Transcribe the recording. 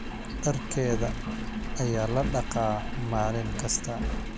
Dharkeeda ayaa la dhaqaa maalin kasta